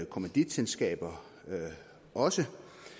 kommanditselskaber også